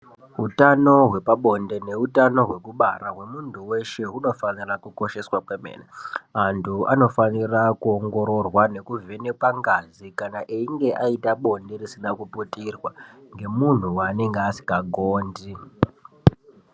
Utano hwepabonde neutano hwekubara hwemuntu weshe hunofana kukosheshwa kwemene. Antu anofanira kuongororwa kuvhenekwa ngazi echinge ayita bonde risina kuputirwa nemunhu wanenge asinhagondi.